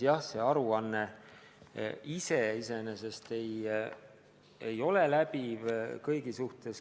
Jah, see aruanne ei hõlma kõike.